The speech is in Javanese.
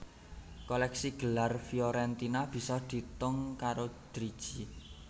Kolèksi gelar Fiorentina bisa diitung karo driji